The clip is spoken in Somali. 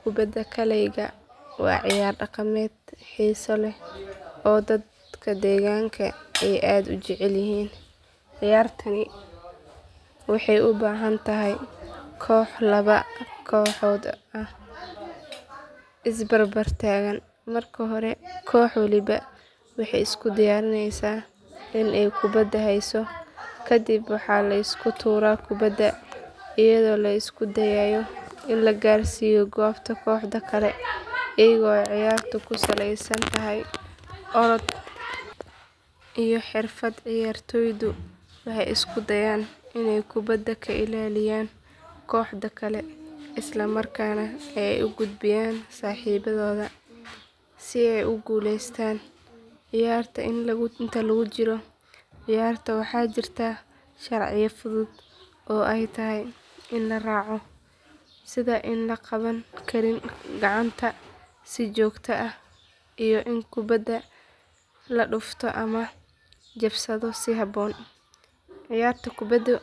Kubada kalayga waa ciyaar dhaqameed xiiso leh oo dadka deegaanka ay aad u jecel yihiin ciyaartaani waxay u baahan tahay kooxo laba kooxood oo is barbar taagan marka hore koox waliba waxay isku diyaarinaysaa in ay kubada hayso kadib waxaa la isku tuuraa kubada iyadoo la isku dayayo in la gaarsiiyo goobta kooxda kale iyadoo ciyaartu ku salaysan tahay orod iyo xirfad ciyaartoydu waxay isku dayaan inay kubada ka ilaaliyaan kooxda kale isla markaana ay u gudbiyaan saaxiibadooda si ay ugu guuleystaan ciyaarta inta lagu jiro ciyaarta waxaa jira sharciyo fudud oo ay tahay in la raaco sida in aan la qaban karin gacanta si joogto ah iyo in kubada la dhufto ama la jabsado si habboon ciyaarta kubada